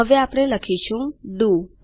હવે આપણે લખીશું તે ડીઓ છે